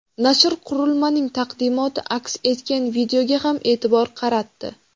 Nashr qurilmaning taqdimoti aks etgan videoga ham e’tibor qaratdi.